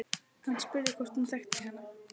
Hann spurði hvort hún þekkti hana.